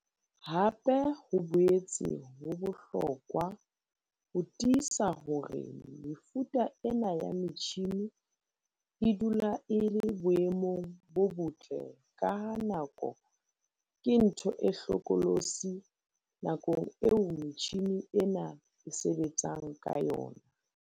Hape ho boetse ho bohlokwa ho tiisa hore mefuta ena ya metjhine e dula e le boemong bo botle ka ha nako ke ntho e hlokolosi nakong eo metjhine ena e sebetsang ka yona.